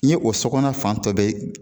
N ye o sɔkɔnɔna fantɔ bɛɛ